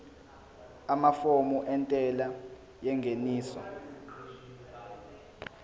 amafomu entela yengeniso